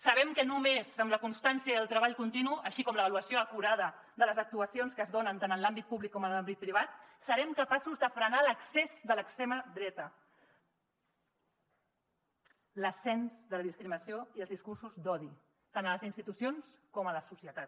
sabem que només amb la constància i el treball continu així com l’avaluació acurada de les actuacions que es donen tant en l’àmbit públic com en l’àmbit privat serem capaços de frenar l’accés de l’extrema dreta l’ascens de la discriminació i els discursos d’odi tant a les institucions com a la societat